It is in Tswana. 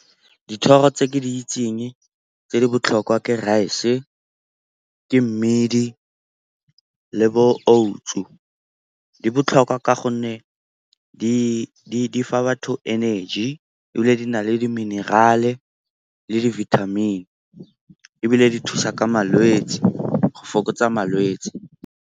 Dithoro tse ke di itseng tse di botlhokwa ke rice-e, ke mmidi le bo oats-o. Di botlhokwa ka gonne di fa batho energy, ebile di na le di-mineral-e le di-vitamin ebile di thusa ka malwetse, go fokotsa malwetse.